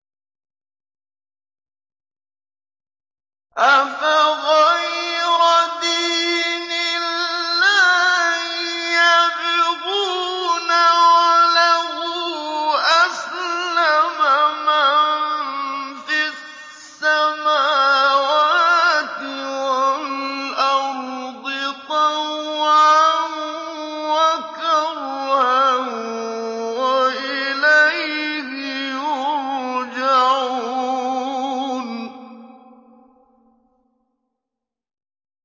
أَفَغَيْرَ دِينِ اللَّهِ يَبْغُونَ وَلَهُ أَسْلَمَ مَن فِي السَّمَاوَاتِ وَالْأَرْضِ طَوْعًا وَكَرْهًا وَإِلَيْهِ يُرْجَعُونَ